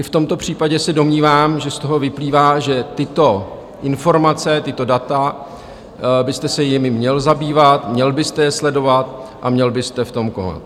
I v tomto případě se domnívám, že z toho vyplývá, že tyto informace, tato data, byste se jimi měl zabývat, měl byste je sledovat a měl byste v tom konat.